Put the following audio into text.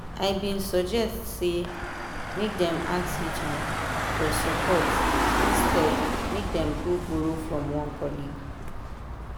i been suggest say make dem ask hr for support instead make dem go borrow from one colleague.